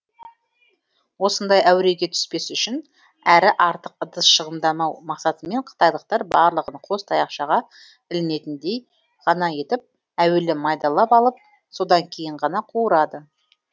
осындай әуреге түспес үшін әрі артық ыдыс шығындамау мақсатымен қытайлықтар барлығын қос таяқшаға ілінетіндей ғана етіп әуелі майдалап алып содан кейін ғана қуырады